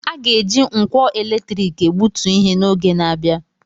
A ga-eji nkwọ eletrik egbutu ihe n'oge na-abịa.